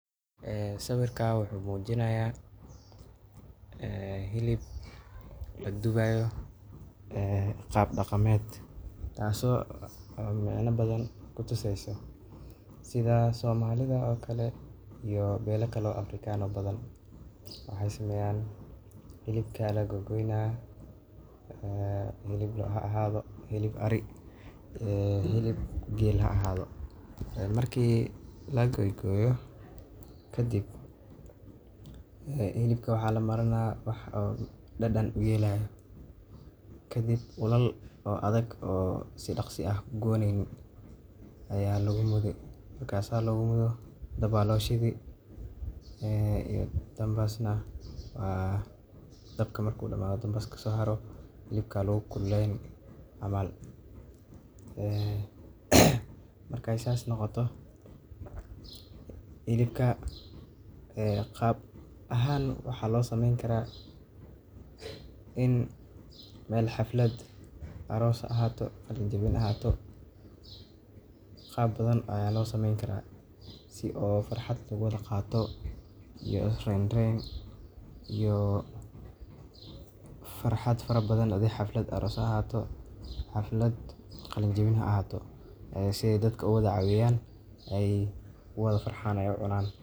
Ha sawirka wuxuu muujinaya, ee hilib lagu duubayo, ee qaab dhaqameed taaso, ah, meyna badan ku tuseyso. Sidaa soomaalida oo kale iyo beelo kalo afrikaano badan. Waxay sameyaan, hilibka la gogoynaa, ah, hilib loo aha ahaado, hilib ari, ee, hilib geel aha ahaado. Markii la goygoyo, kadib, eeh, hilibku waxaa la maranaa wax dhadhan u yeelay. Kadib, ulaal oo adag oo si dhakhsi ah gowonin ayaa lagu mudo. Markaasaa loogu mudo dabbaalaw shidi, ee, iyo dambasna. Waa dabka markuu dhammayo dambaska soo haro hilibka lagu kulayn camaal. Eeh. Marka aysan noqoto, hilibka, ee qaab ahaan waxaa loo sameyn karaa in meel xaflad arroso ahaato, qalinjibin ahaato. Qaab badan ayaa loo sameyn karaa si oo farxad lagugu dhaqaato iyo reen reen iyo farxad farab badan haddii xaflad arroso ahaato, xaflad qalinjibin ahaato. Isagoo dadka ula cabayaan ay waada farxaanayso cunaan.